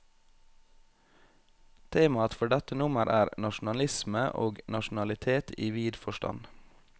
Temaet for dette nummer er, nasjonalisme og nasjonalitet i vid forstand.